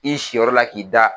I si yɔrɔ la k'i da